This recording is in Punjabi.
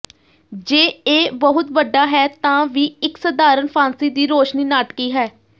ਜੇ ਇਹ ਬਹੁਤ ਵੱਡਾ ਹੈ ਤਾਂ ਵੀ ਇੱਕ ਸਧਾਰਨ ਫਾਂਸੀ ਦੀ ਰੌਸ਼ਨੀ ਨਾਟਕੀ ਹੈ